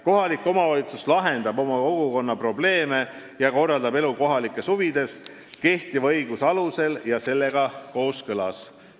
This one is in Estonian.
Kohalik omavalitsus lahendab oma kogukonna probleeme ja korraldab elu kohalikes huvides, kehtiva õiguse alusel ja sellega kooskõlas.